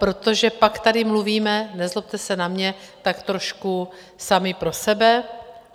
Protože pak tady mluvíme, nezlobte se na mě, tak trošku sami pro sebe.